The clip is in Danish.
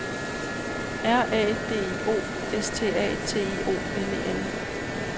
R A D I O S T A T I O N E N